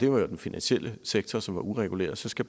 var jo den finansielle sektor som var ureguleret og så skal